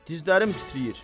Dizlərim titrəyir.